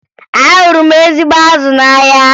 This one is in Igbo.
Ahụrụ m ezigbo azụ n'ahịa